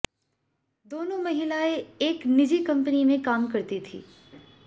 दोनों महिलाएं एक निजी कंपनी में काम करती थीं